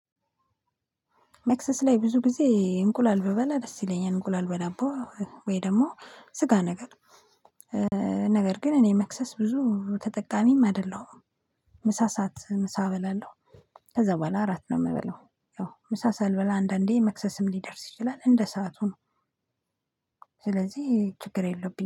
መክሰስ ላይ ብዙ ጊዜ እንቁላል ብበላ ደስ ይለኛል። እንቁላል በዳቦ ወይ ደግሞ ስጋ ነገር። ነገር ግን እኔ መክሰስ ብዙም ተጠቃሚም አይደለሁም። ምሳ ሰዓት ምሳ እበላለው፤ ከዛ በኋላ እራት ነው የምበላው። ያው ምሳ ሳልበላ አንዳንዴ መክሰስም ሊደርስ ይችላል እንደ ሰዓቱ ነው፤ ስለዚህ ችግር የለብኝም።